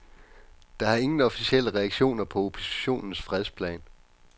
Der er ingen officielle reaktioner på oppositionens fredsplan.